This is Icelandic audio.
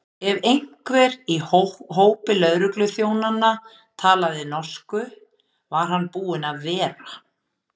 Ef einhver í hópi lögregluþjónanna talaði norsku, var hann búinn að vera.